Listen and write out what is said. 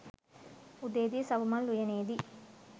උදේ දී සපුමල් උයනේදී